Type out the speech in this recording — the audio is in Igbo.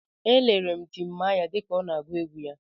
Elere m Timaya dịka ọ na-agụ egwu ya.